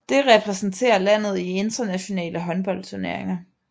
Det repræsenterer landet i internationale håndboldturneringer